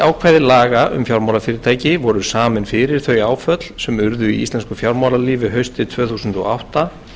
ákvæði laga um fjármálafyrirtæki voru samin fyrir þau áföll sem urðu í íslensku fjármálalífi haustið tvö þúsund og átta